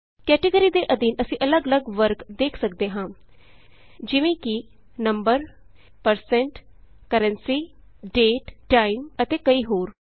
category ਦੇ ਅਧੀਨ ਅਸੀਂ ਅੱਲਗ ਅੱਲਗ ਵਰਗ ਦੇਖ ਸਕਦੇ ਹਾਂ ਜਿਵੇਂ ਕਿ number percent currency date time ਅਤੇ ਕਈ ਹੋਰ